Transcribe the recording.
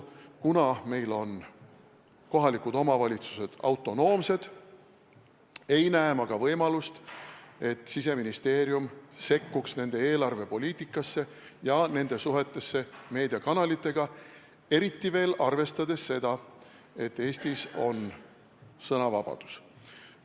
Kuna meil on kohalikud omavalitsused autonoomsed, ei näe ma ka võimalust, et Siseministeerium sekkuks nende eelarvepoliitikasse ja nende suhetesse meediakanalitega, eriti veel arvestades seda, et Eestis on sõnavabadus.